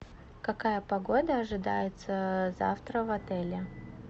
какая погода ожидается завтра в отеле